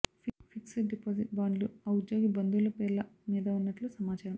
fixed deposit బాండ్లు ఆ ఉద్యోగి బంధువుల పేర్ల మీద ఉన్నట్లు సమాచారం